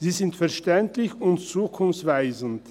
Sie sind verständlich und zukunftsweisend.